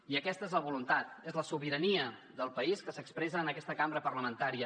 i aquesta és la voluntat és la sobirania del país que s’expressa en aquesta cambra parlamentària